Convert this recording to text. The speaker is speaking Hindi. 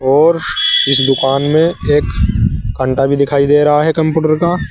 और इस दुकान में एक कंटा भी दिखाई दे रहा है कंप्यूटर का।